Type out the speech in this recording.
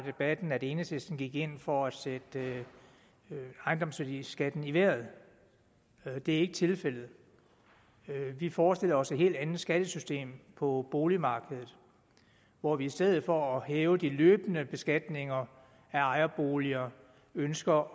debatten at enhedslisten gik ind for at sætte ejendomsværdiskatten i vejret det er ikke tilfældet vi forestiller os et helt andet skattesystem på boligmarkedet hvor vi i stedet for at hæve de løbende beskatninger af ejerboliger ønsker